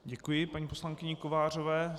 Děkuji paní poslankyni Kovářové.